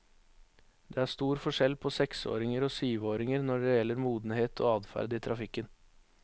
Det er stor forskjell på seksåringer og syvåringer når det gjelder modenhet og adferd i trafikken.